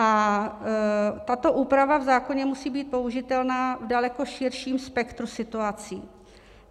A tato úprava v zákoně musí být použitelná v daleko širším spektru situací.